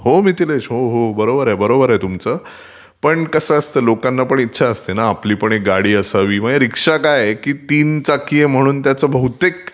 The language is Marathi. हो मिथिलेश...हो हो बरोबर बरोबर आहे तुमचं. पण कसं असतं लोकांना पण इच्छा असते ना आपली एक गाडी असावी. रीक्षा काय आहे ती तीन चाकी म्हणून बहुतेक